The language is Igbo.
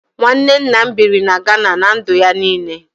Nwanne nna m biri na Gana ná ndụ ya niile